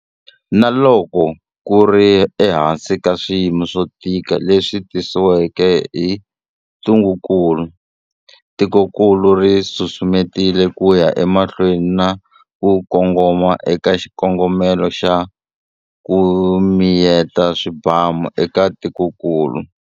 Na loko ku ri ehansi ka swiyimo swo tika leswi tisiweke hi ntungukulu, tikokulu ri susumetile ku ya emahlweni na ku kongoma eka xikongomelo xa 'ku miyeta swibamu'eka tikokulu.